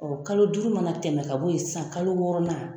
kalo duuru mana tɛmɛ ka bɔ ye sisan kalo wɔɔrɔ na.